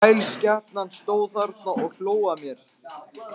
Þrælsskepnan stóð þarna og hló að mér.